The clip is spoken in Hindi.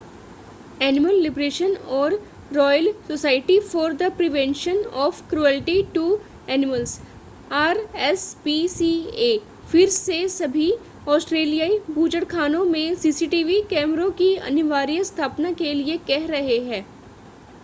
एनिमल लिबरेशन और royal society for the prevention of cruelty to animals RSPCA फिर से सभी ऑस्ट्रेलियाई बूचड़खानों में सीसीटीवी कैमरों की अनिवार्य स्थापना के लिए कह रहे हैं।